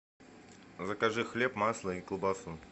закажи хлеб масло и колбасу